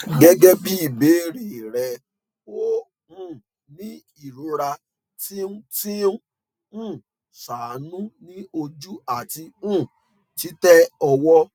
gẹgẹbi ibeere rẹ o um ni irora ti n ti n um ṣaanu ni oju ati um titẹ ọwọ